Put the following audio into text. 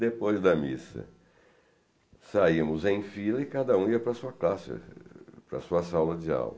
Depois da missa saímos em fila e cada um ia para classe para a sua sala de aula.